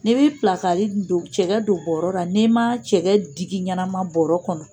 N'i bɛ cɛkɛ don bɔrɔ kɔnɔ n'i ma cɛkɛ digi ɲɛnama bɔrɔ kɔnɔ.